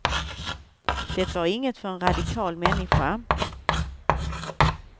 De var inget för en radikal människa.